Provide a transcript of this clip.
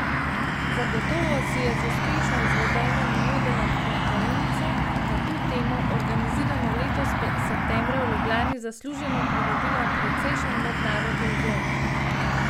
Zagotovo si je z uspešno izvedeno in vodeno konferenco na to temo, organizirano letos septembra v Ljubljani, zasluženo pridobila precejšen mednarodni ugled.